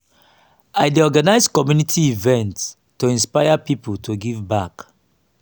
i dey organize community events to inspire pipo to give back.